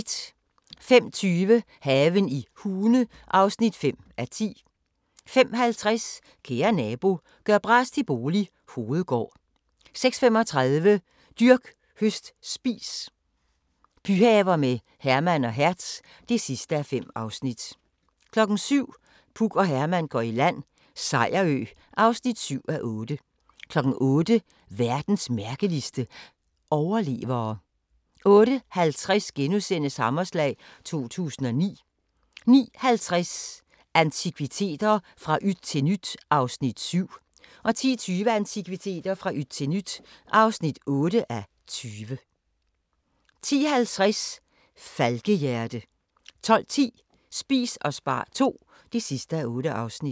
05:20: Haven i Hune (5:10) 05:50: Kære nabo – gør bras til bolig – Hovedgård 06:35: Dyrk, høst, spis – byhaver med Herman og Hertz (5:5) 07:00: Puk og Herman går i land - Sejerø (7:8) 08:00: Verdens mærkeligste – overlevere 08:50: Hammerslag 2009 * 09:50: Antikviteter – fra yt til nyt (7:20) 10:20: Antikviteter – fra yt til nyt (8:20) 10:50: Falkehjerte 12:10: Spis og spar II (8:8)